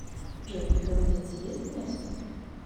джой голодец ест мясо